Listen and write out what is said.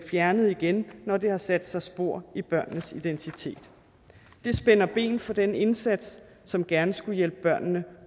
fjernet igen når det har sat sig spor i børnenes identitet det spænder ben for den indsats som gerne skulle hjælpe børnene